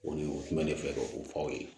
O de ye o jumɛn de fɛ ka o fɔ aw ye